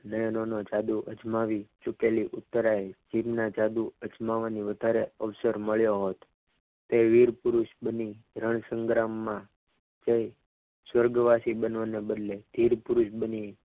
નયનોનું જાદુ અજમાવી ચુકેલી ઉતરાય ના જાદુ અજમાવવાનું વધારે અવસર મળ્યો તે વીરપુરુષ બની રણ સંગ્રામમાં તે સ્વર્ગવાસી બનવાના બદલે વીરપુરુષ બને.